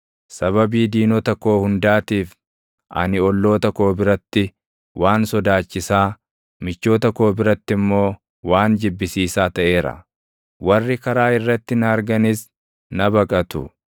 Sababii diinota koo hundaatiif, ani olloota koo biratti waan sodaachisaa, michoota koo biratti immoo waan jibbisiisaa taʼeera; warri karaa irratti na arganis na baqatu.